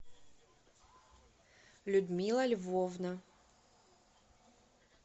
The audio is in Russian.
людмила львовна